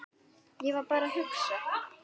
Ég var bara að hugsa.